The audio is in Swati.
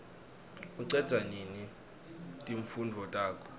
ucedza nini timfundvo takho